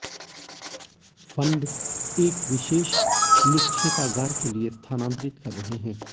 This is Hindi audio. फंड एक विशेष निक्षेपागार के लिए स्थानांतरित कर रहे हैं